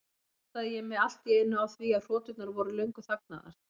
Þá áttaði ég mig allt í einu á því að hroturnar voru löngu þagnaðar.